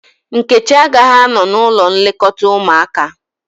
Nkechi agaghị anọ n´ụlọ nlekọta ụmụaka.